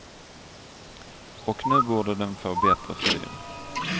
Och nu borde den få bättre fyr.